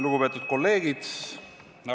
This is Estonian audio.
Lugupeetud kolleegid!